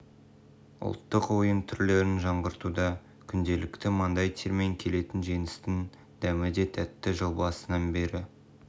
ұлттық ойын түрлерін жаңғыртуда күнделікті маңдай термен келетін жеңістің дәмі де тәтті жыл басынан бері